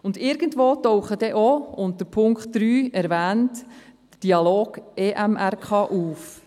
Irgendwo taucht auch, unter Punkt 3 erwähnt, der «Dialog EMRK» auf.